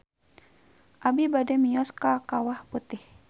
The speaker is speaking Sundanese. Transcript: Abi bade mios ka Kawah Putih